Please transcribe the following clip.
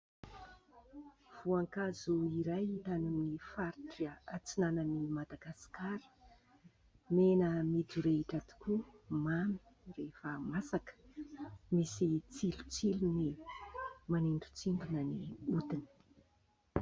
Voankazo iray hita any amin'ny faritra antsinan'i Madagasikara, mena midorehitra tokoa, mamy rehefa masaka, misy tsilotsilony manindrontsindrona ny hodiny.